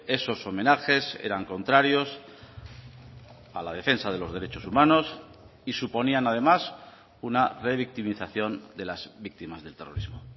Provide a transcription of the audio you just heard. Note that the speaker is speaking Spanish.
esos homenajes eran contrarios a la defensa de los derechos humanos y suponían además una revictimización de las víctimas del terrorismo